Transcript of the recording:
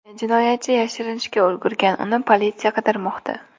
Jinoyatchi yashirinishga ulgurgan, uni politsiya qidirmoqda.